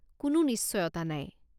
কোনো নিশ্চয়তা নাই।